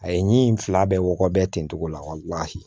A ye n fila bɛɛ wɔkɔ bɛɛ ten togo la